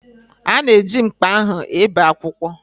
Ọ na-eji mkpa ahụ e bee akwụkwọ.